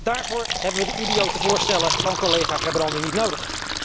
Daarvoor hebben we de idiote voorstellen van collega Gerbrandy niet nodig.